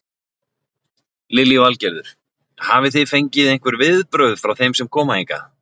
Lillý Valgerður: Hafi þið fengið einhver viðbrögð frá þeim sem koma hingað?